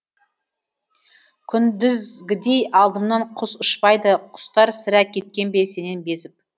күндізгідей алдымнан құс ұшпайды құстар сірә кеткен бе сенен безіп